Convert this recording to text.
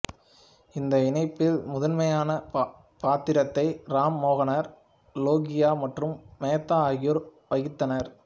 இந்த இணைப்பில் முதன்மையான பாத்திரத்தை ராம் மனோகர் லோகியா மற்றும் மேத்தா ஆகியோர் வகித்தனர்